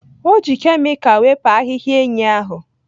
O ji kemikal wepụ ahịhịa enyí ahụ